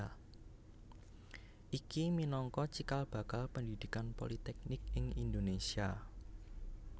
Iki minangka cikal bakal pendhidhikan politeknik ing Indonésia